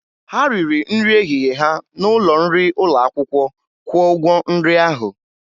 Ha riri nri ehihie ha n'ụlọ nri ụlọ akwụkwọ, kwụọ ụgwọ nri ahụ!